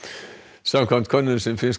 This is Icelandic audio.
samkvæmt könnun sem finnska